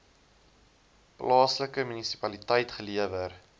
plaaslike munisipaliteit gelewer